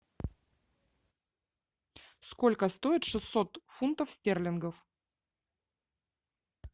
сколько стоит шестьсот фунтов стерлингов